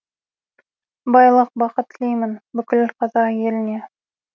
байлық бақыт тілеймін бүкіл қазақ еліне